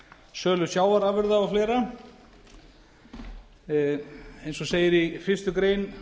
sölu sjávarafurða og fleira eins og segir í fyrstu grein